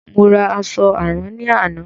Mo ra àṣọ àrán ní àná.